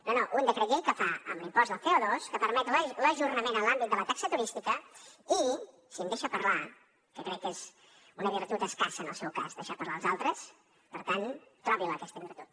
no no un decret llei que fa amb l’impost del col’àmbit de la taxa turística i si em deixa parlar que crec que és una virtut escassa en el seu cas deixar parlar els altres per tant trobi la aquesta virtut